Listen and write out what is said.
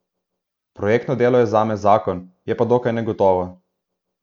Projektno delo je zame zakon, je pa dokaj negotovo.